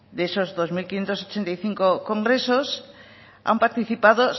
de esos dos mil quinientos ochenta y cinco congresos han participado